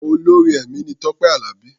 Olórin ẹ̀mí ni Tọ́pé Àlàbí.